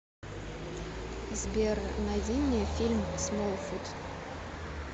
сбер найди мне фильм смолфут